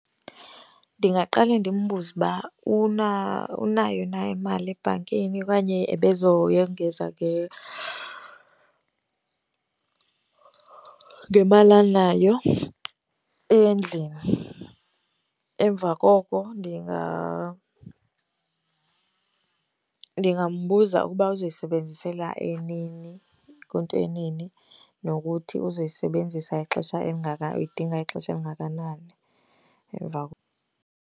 Ndingaqale ndimbuze uba unayo na imali ebhankini okanye ebezoyongeza ngemali anayo endlini. Emva koko ndingambuza ukuba uzoyisebenzisela nini, kwinto nini nokuthi uzoyisebenzisa ixesha uyidinga ixesha elingakanani .